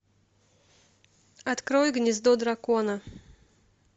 открой гнездо дракона